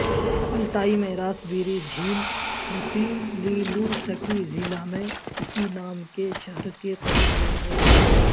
Altai میں راسبیری جھیل مخیلیلوسکی ضلع میں اسی نام کے شہر کے قریب واقع ہے